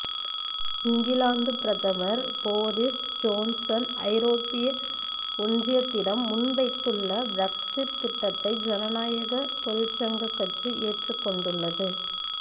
இங்கிலாந்து பிரதமர் Boris Johnson ஐரோப்பிய ஒன்றியத்திடம் முன்வைத்துள்ள பிரெக்ஸிற் திட்டத்தை ஜனநாயக தொழிற்சங்கக் கட்சி ஏற்றுக்கொண்டுள்ளது